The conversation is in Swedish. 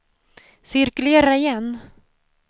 cirkulera igen